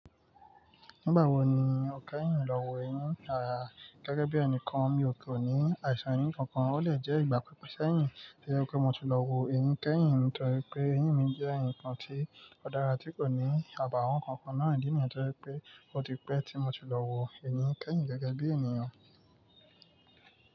Nígbà wo ni o kẹ́yìn lọ́wọ́ eyín? Àá, gẹ́gẹ́ bí ẹnìkan mi kò ní àìsàn eyín kankan, ó lè jẹ́ ìgbà pípẹ́ sẹ́yìn tó jẹ́ pé mo ti lọ wo eyín kẹ́yìn. Nítorí pé eyín mi jẹ́ ǹkan tí ó dára tí kò ní àbàwọ́n kankan náà. Ìdí nìyìí tó jẹ́ pé pé ó ti pẹ́ tí mo ti lọ wo eyín kẹ́yìn gẹ́gẹ́ bí ènìyàn.